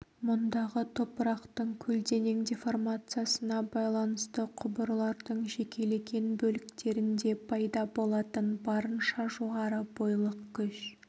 мұндағы топырақтың көлденең деформациясына байланысты құбырлардың жекелеген бөліктерінде пайда болатын барынша жоғары бойлық күш